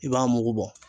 I b'a mugu bɔ